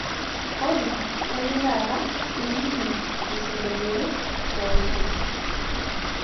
olly kayeu taata naning singolioti looshire